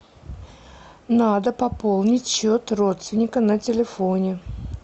надо пополнить счет родственника на телефоне